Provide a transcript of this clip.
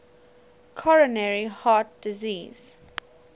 coronary heart disease